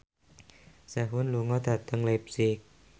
Sehun lunga dhateng leipzig